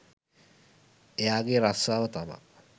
එයා ගේ රස්සාව තමා